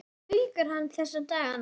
Hvað baukar hann þessa dagana?